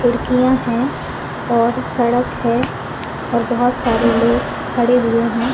खिडकियाँ है और सड़क है और बहोत सारे लोग खड़े हुए है।